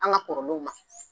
An ka k' ma